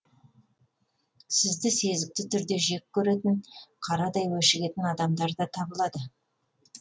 сізді сезікті түрде жек көретін қарадай өшігетін адамдар да табылады